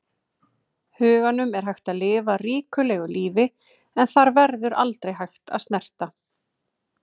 huganum er hægt að lifa ríkulegu lífi en þar verður aldrei hægt að snerta.